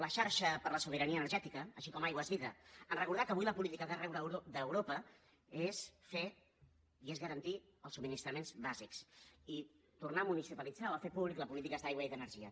la xarxa per la sobirania energètica com també aigua és vida ens recordà que avui la política d’arreu d’europa és fer i és garantir els subministraments bàsics i tornar a municipalitzar o a fer públiques les polítiques d’aigua i d’energia